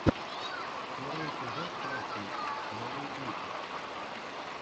первый эпизод классненький новые клипы